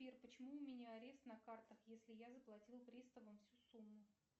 сбер почему у меня арест на картах если я заплатила приставам всю сумму